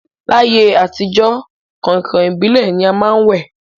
L'ayé àtijọ́, kàǹkàn ìbílẹ̀ ni a má ń wẹ̀